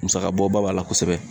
Musaka bɔ ba b'a la kosɛbɛ.